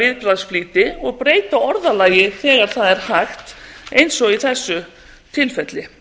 viðbragðsflýti og breyta orðalagi þegar það er hægt eins og í þessu tilfelli